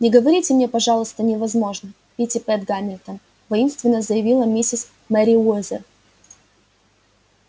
не говорите мне пожалуйста невозможно питтипэт гамильтон воинственно заявила миссис мерриуэзер